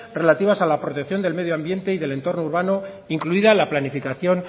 relativas a las protección del medioambiente y del entorno urbano incluida la planificación